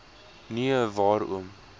nie a waarom